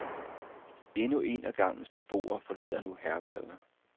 Endnu en af gangens beboere forlader nu herberget.